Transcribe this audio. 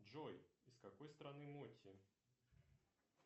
джой из какой страны моти